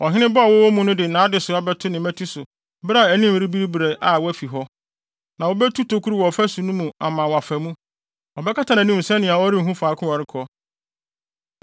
“Ɔhene ba a ɔwɔ wɔn mu no de nʼadesoa bɛto ne mmati so bere a anim rebiribiri na wafi hɔ, na wobetu tokuru wɔ ɔfasu no mu ama wafa mu. Ɔbɛkata nʼanim sɛnea ɔrenhu faako a ɔrekɔ.